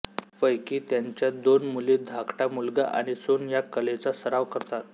पैकी त्यांच्या दोन मुली धाकटा मुलगा आणि सून या कलेचा सराव करतात